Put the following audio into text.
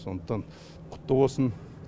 сондықтан құтты болсын